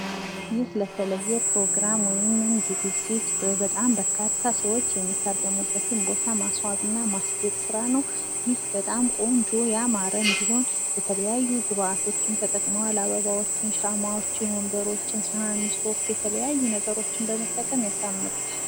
ይህ ለተለየ ፕሮግራም ወይም ዝግጅት በጣም በርካታ ሰዎች የሚታደሙበትን ቦታ ማስዋብና ማስጌጥ ስራ ነው። ይህ በጣም ቆንጆ ያማረ እንዲሆን የተለያዩ ግብአቶችን ተጠቅመዋል። አበባዎችን፣ ሻማዎችን፣ ወንበሮችን፣ ሰሀን፣ ሶፍት የተለያዩ ነገሮችን በመጠቀም ያሳምሩታል።